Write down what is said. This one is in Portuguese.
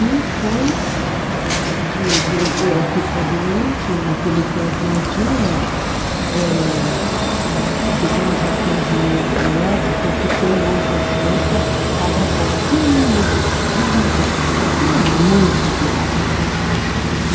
E foi...de de ficou doente, naquele tempo não tinha eh a... digamos, o atendimento médico que tem hoje a ciência estava um pouquinho devagar, um pouquinho não, muito devagar.